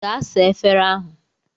Gaa saa efere ahụ!